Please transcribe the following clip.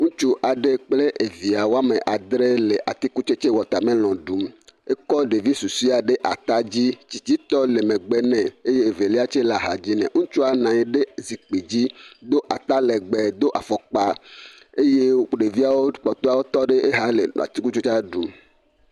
Ŋutsu aɖe kple evoa woame adre le atikutsetse watermelon ɖũu, ekɔ ɖevi susuea ɖe ata dzi tsitsitɔ le megbe nɛ eye velia tse le axa dzi nɛ ŋutsua le zikpui dzi do ata legbee do afɔkpa eye ɖeviawo kpɔtɔa tɔ ɖe ɖeka le atikutsetsea ɖum.